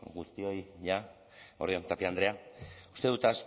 guztioi eguerdi on tapia andrea uste dut